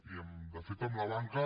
i de fet amb la banca